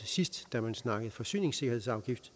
sidst da man snakkede forsyningssikkerhedsafgift